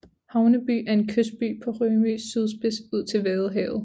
Havneby er en kystby på Rømøs sydspids ud til Vadehavet